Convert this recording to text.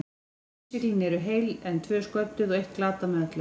Tvö innsiglin eru heil, en tvö sködduð og eitt glatað með öllu.